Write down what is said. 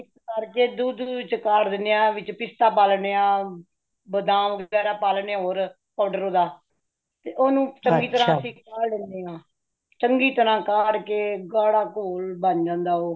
mix ਕਰਕੇ ਦੁੱਧ ਵਿੱਚ ਕਾਢ ਦੇਂਦੇ ਹਾ , ਪਿਸਤਾ ਪਾ ਲੈਂਦੇ ਹਾਂ ,ਬਦਾਮ ਵਗੇਰਾ ਪਾ ਲੈਂਦੇ ਹੈ powder ਓਦਾਂ ਤੇ ਓਨੁ ਚੰਗੀ ਤਰਾਂ ਕਾਢ ਲੈਂਦੇ ਹਾ ,ਚੰਗੀ ਤਰਾਂ ਕਾਢ ਕੇ ਗਾੜਾ ਗੋਲੇ ਬਾਨ ਜਾਂਦਾ ਹੈ ਓਹ